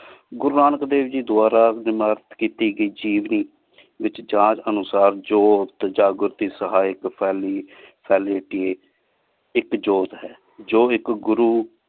ਗੁਰੂ ਨਾਨਕ ਦੇਵ ਗੀ ਦੁਵਾਰ੍ਬ ਡੀ ਮਗਰ ਵਿਚ ਜਾਗ ਅਨੁਸਾਰ ਜੋਰਥ ਜਾਗੁਰਤੀ ਸਹੀ ਪੀ ਫ਼ਲੀ ਇਕ ਜੋਤ ਹੈ ਜੋ ਇਕ ਗੁਰੂ